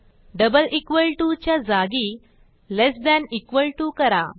double equal to च्या जागी less than equal to करा